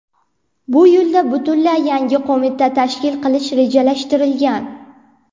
Bu yo‘lda butunlay yangi qo‘mita tashkil qilish rejalashtirilgan.